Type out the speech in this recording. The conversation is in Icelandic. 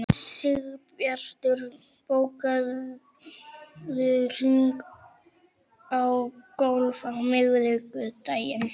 Sigbjartur, bókaðu hring í golf á miðvikudaginn.